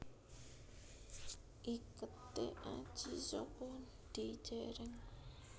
Iketé Aji Saka dijèrèng